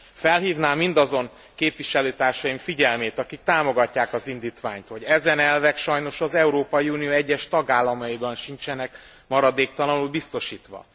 Felhívnám mindazon képviselőtársaim figyelmét, akik támogatják az indítványt, hogy ezen elvek sajnos az Európai Unió egyes tagállamaiban sincsenek maradéktalanul biztosítva.